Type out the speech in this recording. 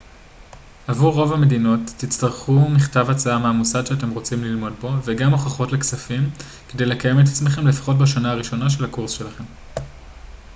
עבור רוב המדינות תצטרכו מכתב הצעה מהמוסד שאתם רוצים ללמוד בו וגם הוכחות לכספים כדי לקיים את עצמכם לפחות בשנה הראשונה של הקורס שלכם